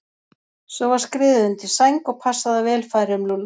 Svo var skriðið undir sæng og passað að vel færi um Lúlla.